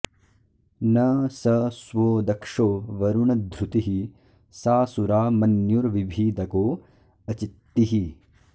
न स स्वो दक्षो वरुण ध्रुतिः सा सुरा मन्युर्विभीदको अचित्तिः